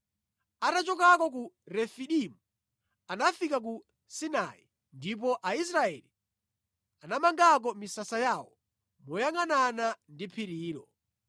Atachoka ku Refidimu, anafika ku Sinai, ndipo Aisraeli anamangako misasa yawo moyangʼanana ndi phirilo.